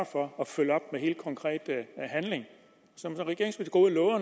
for at følge op med helt konkret handling